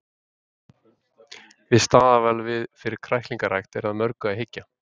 Við staðarval fyrir kræklingarækt er að mörgu að hyggja.